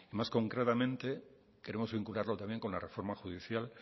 más concretamente queremos vincularlo también con la reforma judicial